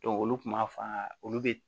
olu kun b'a f'a ɲɛna olu be